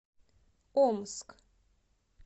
омск